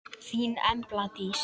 Þín Embla Dís.